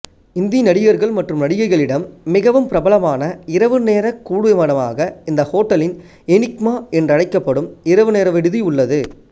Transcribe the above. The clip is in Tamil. இந்தி நடிகர்கள் மற்றும் நடிகைகளிடம் மிகவும் பிரபலமான இரவுநேரக் கூடுமிடமாக இந்த ஹோட்டலின் எனிக்மா என்றழைக்கப்படும் இரவுநேர விடுதி உள்ளது